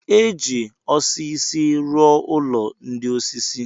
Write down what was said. E ji osisi rụọ ụlọ ndị osisi.